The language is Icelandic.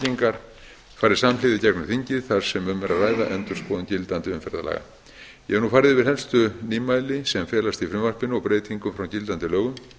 þingið þar sem um er að ræða endurskoðun gildandi umferðarlaga ég hef nú farið yfir helstu nýmæli sem felast í frumvarpinu og breytingum frá gildandi lögum